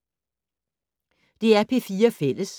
DR P4 Fælles